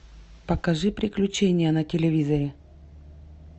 покажи приключения на телевизоре